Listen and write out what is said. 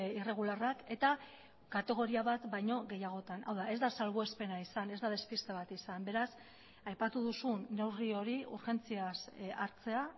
irregularrak eta kategoria bat baino gehiagotan hau da ez da salbuespena izan ez da despiste bat izan beraz aipatu duzun neurri hori urgentziaz hartzea